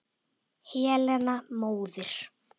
Helena móðir